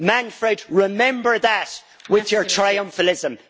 Manfred remember that with your triumphalism.